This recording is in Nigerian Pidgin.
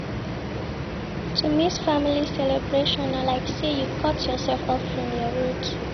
To miss family celebration, na like sey you cut yoursef off from your roots.